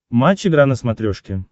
матч игра на смотрешке